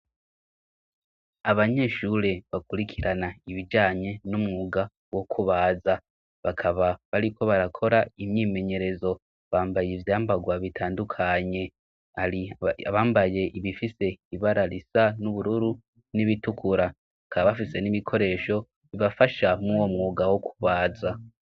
Abanyeshure bakurikirana ibijanye n'umwuga wo kubaza bakaba bariko barakora imyimenyerezo bambaye ivyambagwa bitandukanye riabambaye ibifise ibararisa n'ubururu n'ibitukura aka bafise n'imikoresho bibafasha mwwomwue mugawo kubaza.